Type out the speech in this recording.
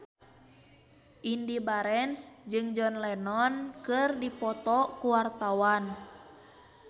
Indy Barens jeung John Lennon keur dipoto ku wartawan